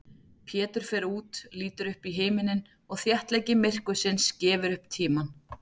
Pétur fer út, lítur upp í himininn og þéttleiki myrkursins gefur upp tímann.